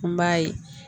N b'a ye